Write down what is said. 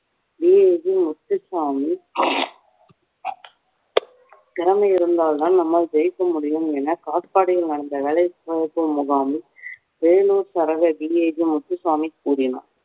DIG Muthusamy திறமை இருந்தாதால் தான் நம்மால் ஜெயிக்க முடியும் என காட்பாடியில் நடந்த வேலை முகாமில் வேலூர் சரக DIG முத்துசாமி கூறினார்